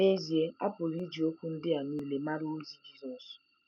N’ezie a pụrụ iji okwu ndị a nile mara ozi Jisọs.